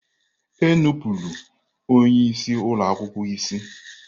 Enupụrụ onye isi ụlọ akwụkwọ isi!